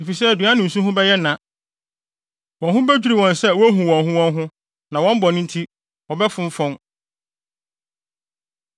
efisɛ aduan ne nsu ho bɛyɛ na. Wɔn ho bedwiriw wɔn sɛ wohu wɔn ho wɔn ho, na wɔn bɔne nti wɔbɛfonfɔn.”